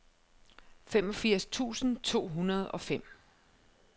femogfirs tusind to hundrede og fem